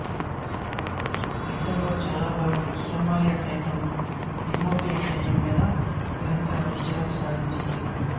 యుద్ధంలో చాలాభాగం సోమాలి సైన్యం ఇథియోపియా సైన్యం మీద నిరంతర విజయాలు సాధించింది